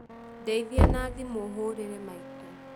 Ndeithia na thimũ hũrĩre maitũ